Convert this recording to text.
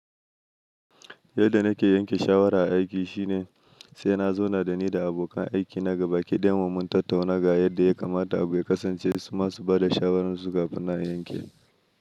Yadda nake yanke shawara a aiki shine sai na zauna da ni da abokan aiki na gaba ki ɗayan mu, mun tattauna ga yadda ya kamata abu ya kasance, su ma su bada shawararsu kafin nan a yanke.